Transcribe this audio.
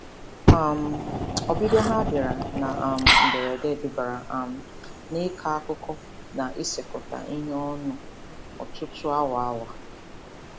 um Ọbịbịa ha bịara na um mberede dubara um n'ịkọ akụkọ na isekọta ihe ọnụ ọtụtụ awa. awa.